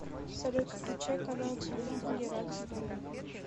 салют включай канал телевидения радость моя